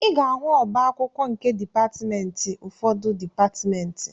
Ị ga-ahụ ọba akwụkwọ nke dịpatmentị n'ufọdụ dịpatmentị